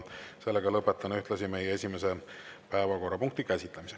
Ühtlasi lõpetan meie esimese päevakorrapunkti käsitlemise.